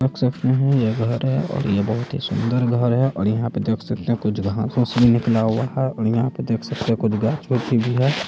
--देख सकते है ये घर है और ये बहुत ही सुन्दर घर है और यहाँ पर देख सकते है कुछ घास भी निकला हुआ है और यहाँ पर देख सकते है कुछ घास भी हैं।